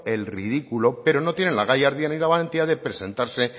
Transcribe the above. el ridículo pero no tienen la gallardía y la valentía de presentarse